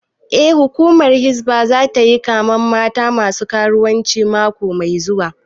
Eh, hukumar hizba zata yi kamen mata masu karuwanci mako mai zuwa